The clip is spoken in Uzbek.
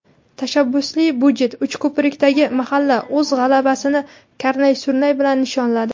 "Tashabbusli byudjet": Uchko‘prikdagi mahalla o‘z g‘alabasini karnay-surnay bilan nishonladi.